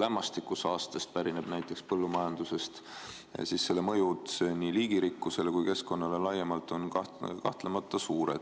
lämmastikusaastest pärineb põllumajandusest ja selle mõju nii liigirikkusele kui keskkonnale laiemalt on kahtlemata suure.